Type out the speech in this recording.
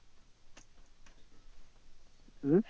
উহ